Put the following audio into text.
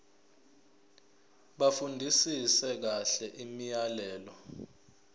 bafundisise kahle imiyalelo